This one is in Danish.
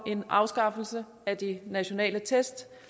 en afskaffelse af de nationale test